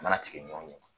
A mana tigɛ ɲɔgɔn ye